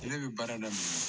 Ale bɛ baara daminɛ